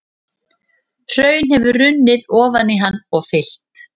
Hraun hefur runnið ofan í hann og fyllt.